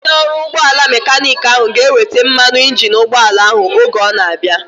Onye ọrụ ụgbọala mekaniiki ahu ga-eweta mmanụ injini ụgbọala ahu oge ọ na-abịa